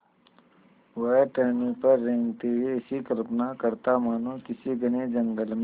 वह टहनियों पर रेंगते हुए ऐसी कल्पना करता मानो किसी घने जंगल में